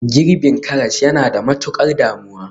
Girbin karas yana da matukar damuwa